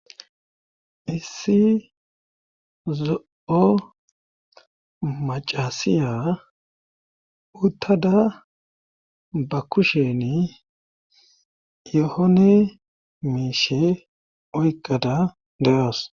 issi zo7o macasiya uttada ba kusheni yohone miishe oyqqada de7awas